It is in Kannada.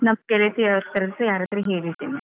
ನಮ್ಮ ಗೆಳತಿಯವರತ್ರ ಎಲ್ಲರತ್ರ ಸಾ ಹೇಳಿ ಇಡ್ತೇನೆ.